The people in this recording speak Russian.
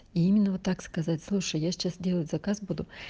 именно вот так сказать слушай я сейчас делать заказ буду